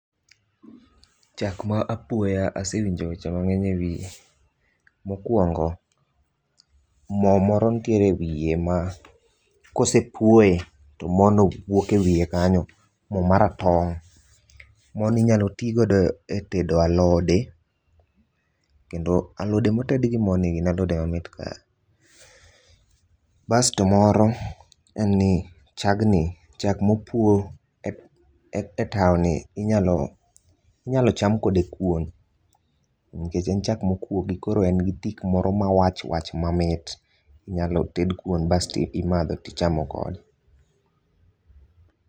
Chak ma apuoya asewinjo weche mangeny e wiye. Mokuongo moo moro nitiere e wiye ma kosepuoye to mono wuok e wiye kanyo, moo maratong. Mono inyal tigodo e tedo alode kendo alode moted gi moo ni gin alode ma mit ga. Basto moro en ni chagni, chak mopuo e tao ni inyal cham kode kuon, nikech en chak mokuogi koro en gi tik moro mawach wach mamit, inyalo ted kuon basto imadho tichamo godo